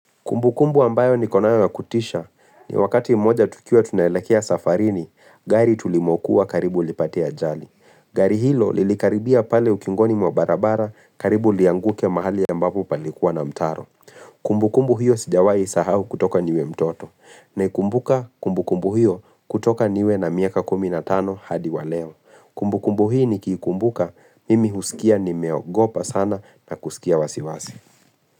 Kumbukumbu ambayo niko nayo ya kutisha ni wakati mmoja tukiwa tunaelekea safarini, gari tulimokuwa karibu lipate ajali. Gari hilo lilikaribia pale ukingoni mwa barabara karibu lianguke mahali ambapo palikuwa na mtaro. Kumbukumbu hiyo sijawahi isahau kutoka niwe mtoto. Naikumbuka kumbukumbu hiyo kutoka niwe na miaka kumi na tano hadi wa leo. Kumbukumbu hii nikiikumbuka mimi husikia nimeogopa sana na kusikia wasiwasi.